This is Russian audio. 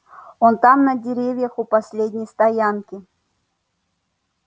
он там на деревьях у последней стоянки